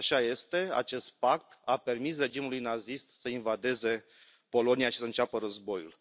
Așa este, acest pact a permis regimului nazist să invadeze Polonia și să înceapă războiul.